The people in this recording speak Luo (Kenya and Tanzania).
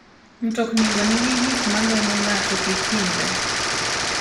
Mtoknigo nigi gik ma geng'o ng'ato kik hinyre.